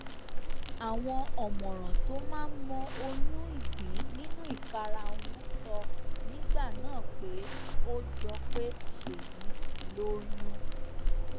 àwọn ọmọràn tó máa ń mọ oyún ìgbín nínú ìkarahun sọ nígbà náà pé ó jọ pé ṣéyí ti lóyún